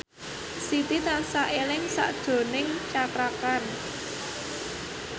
Siti tansah eling sakjroning Cakra Khan